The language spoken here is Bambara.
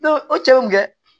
o cɛw kɛ